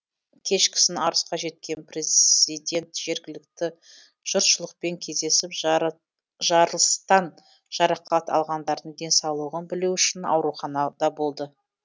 кешкісін арысқа жеткен преззидент жергілікті жұртшылықпен кездесіп жарылыстан жарақат алғандардың денсаулығын білу үшін ауруханада болды